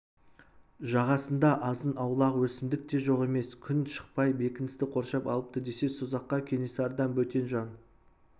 жағасында азын-аулақ өсімдік те жоқ емес күн шықпай бекіністі қоршап алыпты десе созаққа кенесарыдан бөтен жан